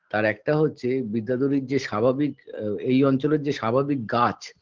আর একটা হচ্ছে বিদ্যাধরীর যে স্বাভাবিক আ এই অঞ্চলের যে স্বাভাবিক গাছ